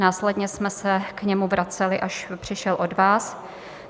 Následně jsme se k němu vraceli, až přišel od vás.